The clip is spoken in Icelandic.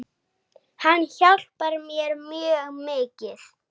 Hann hjálpar mér mjög mikið.